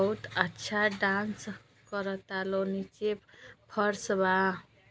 बहुत अच्छा डांस करता लो। नीचे फर्श बा।